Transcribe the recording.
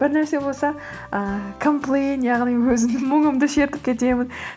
бір нәрсе болса ыыы комплейн яғни өзімнің мұңымды шертіп кетемін